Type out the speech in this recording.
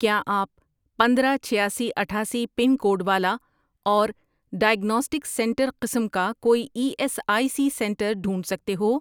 کیا آپ پندرہ، چھیاسی، اٹھاسی پن کوڈ والا اور ڈائیگناسٹک سینٹر قسم کا کوئی E S I C centre ڈھونڈ سکتے ہو؟